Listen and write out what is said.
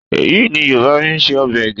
Ẹyìn ni Yorùbá fi ń se ọbẹ̀ ẹgẹ́